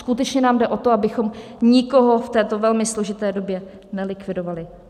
Skutečně nám jde o to, abychom nikoho v této velmi složité době nelikvidovali.